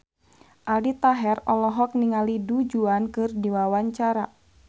Aldi Taher olohok ningali Du Juan keur diwawancara